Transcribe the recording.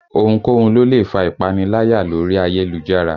Ohunkóhun ló lè fa ìpaniláyà lórí ayélujára